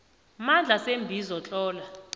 mandla seembizo tlola